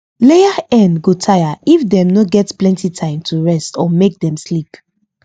layer hens go tire if dem no get plenty time to rest or make dem sleep